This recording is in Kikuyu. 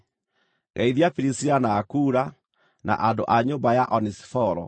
Geithia Pirisila na Akula, na andũ a nyũmba ya Onesiforo.